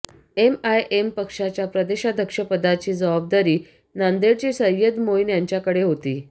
MIM पक्षाच्या प्रदेशाध्यक्षपदाची जबाबदारी नांदेडचे सय्यद मोईन यांच्याकडे होती